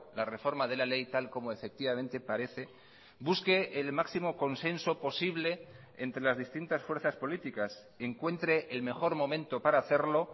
la reforma de la ley tal como efectivamente parece busque el máximo consenso posible entre las distintas fuerzas políticas encuentre el mejor momento para hacerlo